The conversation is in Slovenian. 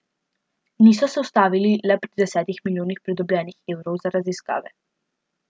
Niso se ustavili le pri desetih milijonih pridobljenih evrov za raziskave.